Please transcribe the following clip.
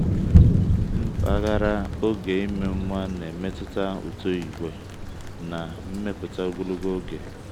mpaghara oge ime nwa na-emetụta uto ìgwè na nmepụta ogologo oge.